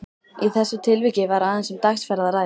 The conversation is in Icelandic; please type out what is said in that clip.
Í þessu tilviki var aðeins um dagsferð að ræða.